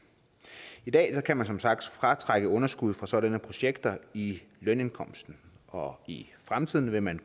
i dag kan man som sagt fratrække underskud fra sådanne projekter i lønindkomsten og i fremtiden vil man